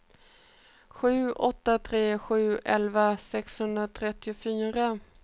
sju åtta tre sju elva sexhundratrettiofyra